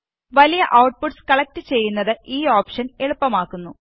വലിയ outputs collect ചെയ്യുന്നത് ഈ ഓപ്ഷന് എളുപ്പമാക്കുന്നു